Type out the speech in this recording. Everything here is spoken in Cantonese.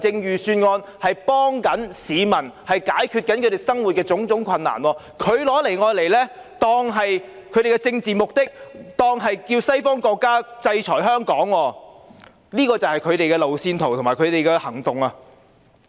預算案是要幫助市民解決生活上的種種困難，但他們卻利用預算案達到他們的政治目的，叫西方國家制裁香港，這就是他們的路線圖和行動。